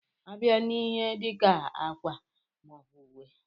A bịa n'ihe dika ákwà maọbu ùwé.